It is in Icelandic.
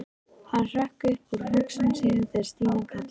Hann hrökk upp úr hugsunum sínum þegar Stína kallaði.